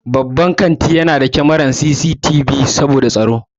Babban kantuna na da kamarar CCTV saboda tsaro.